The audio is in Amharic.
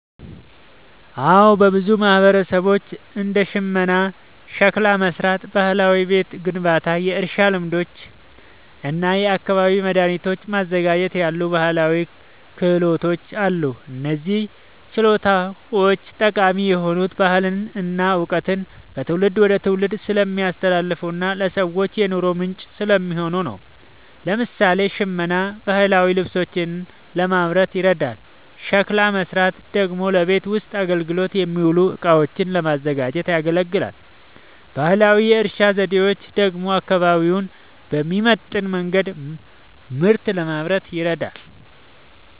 አዎ፣ በብዙ ማህበረሰቦች እንደ ሽመና፣ ሸክላ መሥራት፣ ባህላዊ ቤት ግንባታ፣ የእርሻ ልማዶች እና የአካባቢ መድኃኒቶችን ማዘጋጀት ያሉ ባህላዊ ክህሎቶች አሉ። እነዚህ ችሎታዎች ጠቃሚ የሆኑት ባህልን እና እውቀትን ከትውልድ ወደ ትውልድ ስለሚያስተላልፉና ለሰዎችም የኑሮ ምንጭ ስለሚሆኑ ነው። ለምሳሌ፣ ሽመና ባህላዊ ልብሶችን ለማምረት ይረዳል፤ ሸክላ መሥራት ደግሞ ለቤት ውስጥ አገልግሎት የሚውሉ እቃዎችን ለማዘጋጀት ያገለግላል። ባህላዊ የእርሻ ዘዴዎች ደግሞ አካባቢውን በሚመጥን መንገድ ምርት ለማምረት ይረዳሉ።